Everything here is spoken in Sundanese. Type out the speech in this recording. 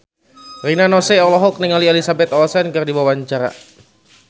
Rina Nose olohok ningali Elizabeth Olsen keur diwawancara